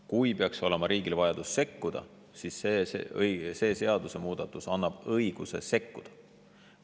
Kui riigil peaks olema vajadus sekkuda, siis see seadusemuudatus annab õiguse sekkuda.